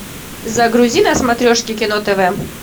загрузи на смотрешке кино тв